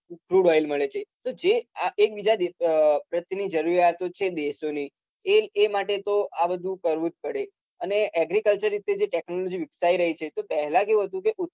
બાઈલ મળે છે તો જે આ એકબીજા દેશો અમ પ્રત્યેની જરુરીયાતો છે દેશોની એ એ માટે તો આ બધું કરવું જ પડે. અને agriculture રીતે જે technology વિકસાઈ રહી છે તો પહેલા કેવું હતું કે